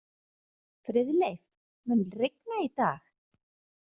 Friðleif, mun rigna í dag?